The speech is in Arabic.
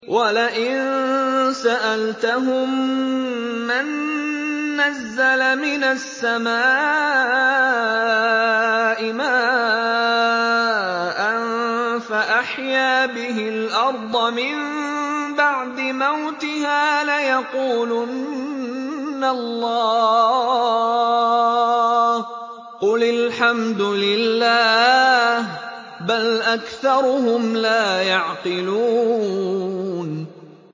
وَلَئِن سَأَلْتَهُم مَّن نَّزَّلَ مِنَ السَّمَاءِ مَاءً فَأَحْيَا بِهِ الْأَرْضَ مِن بَعْدِ مَوْتِهَا لَيَقُولُنَّ اللَّهُ ۚ قُلِ الْحَمْدُ لِلَّهِ ۚ بَلْ أَكْثَرُهُمْ لَا يَعْقِلُونَ